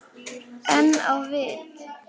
En á vit